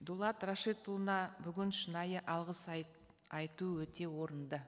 дулат рашидұлына бүгін шынайы алғыс айту өте орынды